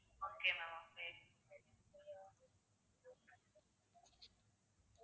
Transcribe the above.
okay ma'am okay